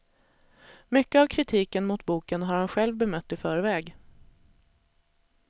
Mycket av kritiken mot boken har han själv bemött i förväg.